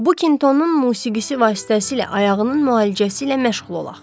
Bu kintonun musiqisi vasitəsilə ayağının müalicəsi ilə məşğul olaq.